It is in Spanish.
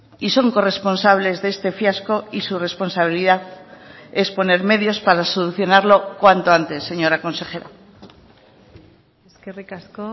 y son corresponsables de este fiasco y su responsabilidad es poner medios para solucionarlo cuanto antes señora consejera eskerrik asko